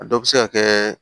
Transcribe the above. A dɔ bɛ se ka kɛ